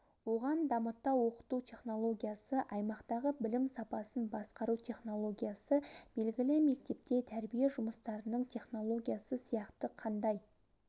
оған дамыта оқыту технологиясы аймақтағы білім сапасын басқару технологиясы белгілі мектепте тәрбие жұмыстарының технологиясы сияқты қандай